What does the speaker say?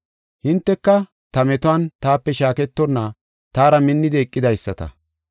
“Hinteka ta metuwan taape shaaketonna taara minnidi eqidaysata.